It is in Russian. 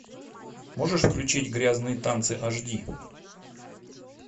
можешь включить грязные танцы аш ди